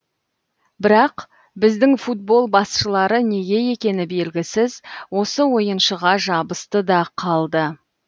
бірақ біздің футбол басшылары неге екені белгісіз осы ойыншыға жабысты да қалды